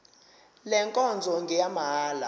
le nkonzo ngeyamahala